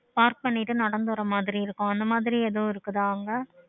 park நடந்து வர மாதிரி இருக்கும் அந்த மாதிரி ஏதும் இருக்குதா அங்க